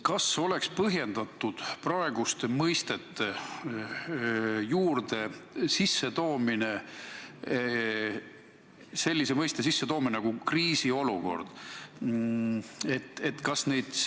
Kas oleks põhjendatud tuua praeguste mõistete kõrvale selline mõiste nagu "kriisiolukord"?